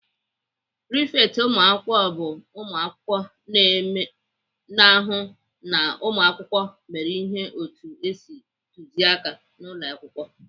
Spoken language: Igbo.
Prifekt ụmụakwụkwọ bụ ụmụakwụkwọ na-ahụ na ụmụakwụkwọ mere ihe otu esi tuzie aka n'ụlọakwụkwọ.